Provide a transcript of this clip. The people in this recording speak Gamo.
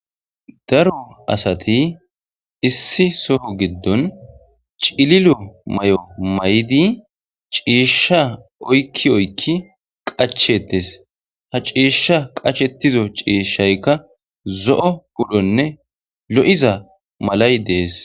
daro asati issi soho giddon cililo may7o may7di ciishsha oykki oykki qachetes ha ciishsha qachetizo ciishshaykka zo7o pudhonne lo7iza malay dees